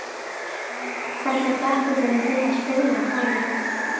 Hvernig dettur þér í hug að spyrja þannig?